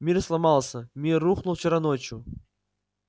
мир сломался мир рухнул вчера ночью